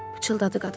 Pıçıltıdı qadın.